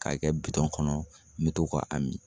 K'a kɛ bitɔn kɔnɔ n be to k'a a min